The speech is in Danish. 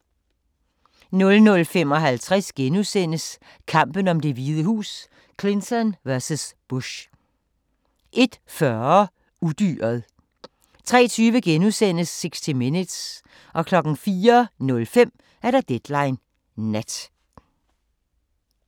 00:55: Kampen om Det Hvide Hus: Clinton vs. Bush * 01:40: Udyret 03:20: 60 Minutes * 04:05: Deadline Nat